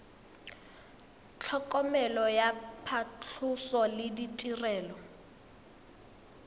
tlhokomelo ya phatlhoso le ditirelo